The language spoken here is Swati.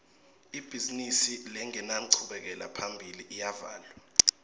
ibhizimisi lengenanchubekela phambili iyavalwa